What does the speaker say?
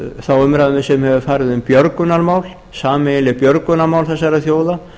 þá umræðu sem hefur farið um björgunarmál sameiginleg björgunarmál þessara þjóða